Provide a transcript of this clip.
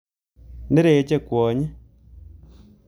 Nereche kwony.